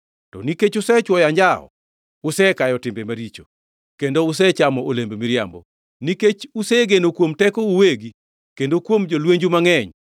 To nikech usechwoyo anjawo, usekayo timbe maricho, kendo usechamo olemb miriambo. Nikech usegeno kuom tekou uwegi kendo kuom jolwenju mangʼeny,